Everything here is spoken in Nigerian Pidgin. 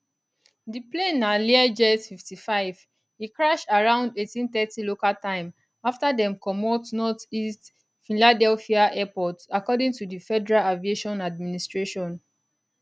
di plane na learjet 55 e crash around 1830 local time afta dem comot northeast philadelphia airport according to di federal aviation administration